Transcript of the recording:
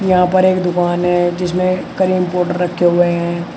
यहां पर एक दुकान है जिसमें क्रीम पाउडर रखे हुए हैं।